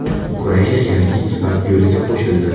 Ukraina yangi Ipak yo‘liga qo‘shildi.